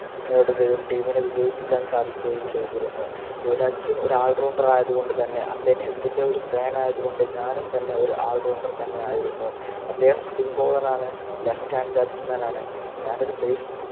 നേടുകയും Team നെ വിജയിപ്പിക്കാൻ സാധിക്കുകയും ചെയ്തിരുന്നു യുവരാജ് സിംഗ് ഒരു allrounder ആയതുകൊണ്ട് തന്നെ അദ്ദേഹത്തിൻ്റെ ഒരു allrounder ആയതുകൊണ്ട് ഞാനും തന്നെ ഒരു allrounder തന്നെയായിരുന്നു അദ്ദേഹം spin bowler ആണ് Left hand batsman ആണ് ഞാനൊരു base